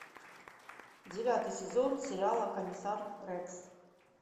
девятый сезон сериала комиссар рекс